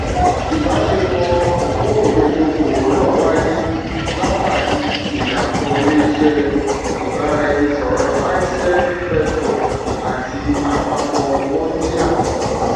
ibaṣepọ okurunbete òkòwò náà wáyé látàrí ìdàpọ ilé iṣé ibaraẹnisọrọ icell vector àti àpapọ mondia